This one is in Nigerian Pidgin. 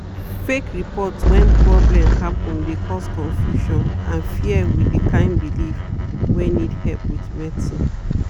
fake report when problem happen de cause confusion and fear with de kind belief wey need help with medicine.